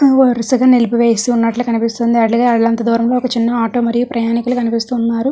వరుసగా నిలిపి వేసినట్లు కనిపిస్తుంది. అటుగా అలంతా దూరంలో చిన్న ఆటో మరియు ప్రయాణికులు కనిపిస్తున్నారు.